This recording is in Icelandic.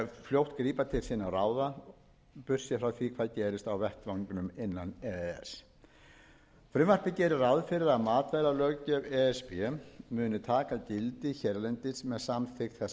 fljótt grípa til sinna ráða burtséð frá því hvað gerist á vettvangnum innan e e s frumvarpið gerir ráð fyrir að matvælalöggjöf e s b muni taka gildi hérlendis með samþykkt þessa frumvarps